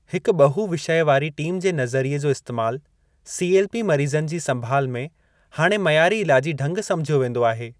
हिकु ॿहू-विषय वारी टीम जो नज़रीये जो इस्तेमालु सीएलपी मरीज़नि जी संभाल में हाणे मइयारी इलाजी ढ़गु समुझियो वेंदो आहे।